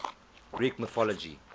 greek mythology